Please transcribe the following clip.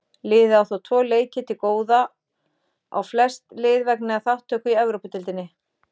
Liðið á þó tvo leiki til góða á flest lið vegna þátttöku í Evrópudeildinni.